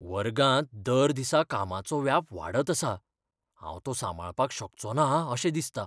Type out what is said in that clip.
वर्गांत दर दिसा कामाचो व्याप वाडत आसा, हांव तो सांबाळपाक शकचोना अशें दिसता .